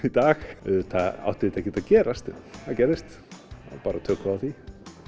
í dag auðvitað átti þetta ekkert að gerast en það gerðist og þá tökum við á því